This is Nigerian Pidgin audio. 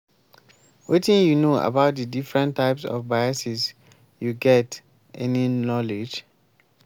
wetin you know about di different types of biases you get any knowledge?